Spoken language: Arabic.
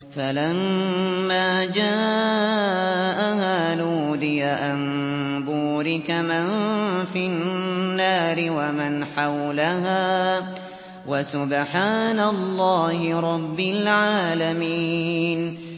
فَلَمَّا جَاءَهَا نُودِيَ أَن بُورِكَ مَن فِي النَّارِ وَمَنْ حَوْلَهَا وَسُبْحَانَ اللَّهِ رَبِّ الْعَالَمِينَ